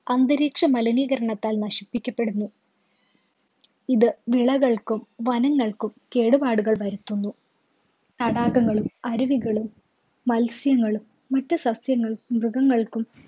അന്തരീക്ഷമലിനീകരണത്താല്‍ നശിപ്പിക്കപ്പെടുന്നു. ഇത് വിളകള്‍ക്കും വനങ്ങള്‍ക്കും കേടുപാടുകള്‍ വരുത്തുന്നു. തടാകങ്ങളും, അരുവികളും, മത്സ്യങ്ങളും, മറ്റു സസ്യങ്ങളും, മൃഗങ്ങൾക്കും